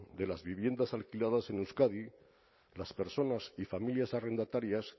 de las viviendas alquiladas en euskadi las personas y familias arrendatarias